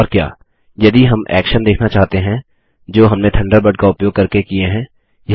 और क्या यदि हम एक्शन्स देखना चाहते हैं जो हमने थंडरबर्ड का उपयोग करके किये हैं